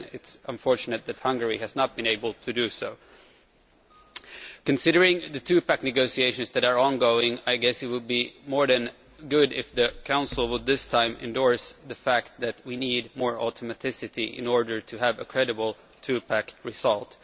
though it is unfortunate that Hungary has not been able to do so. Considering the two pack negotiations which are ongoing, I guess it would be really good if the Council would this time endorse the fact that we need more automaticity in order to have a credible two pack result.